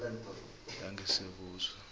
langesiyabuswa